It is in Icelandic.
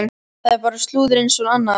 Það er bara slúður eins og annað.